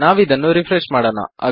ನಾವಿದನ್ನು ರೆಫ್ರೆಶ್ ಮಾಡೋಣ